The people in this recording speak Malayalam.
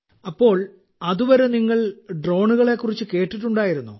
അപ്പോൾ അതുവരെ നിങ്ങൾ ഡ്രോണുകളെ കുറിച്ച് കേട്ടിട്ടുണ്ടായിരുന്നോ